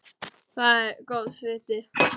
Það er góðs viti.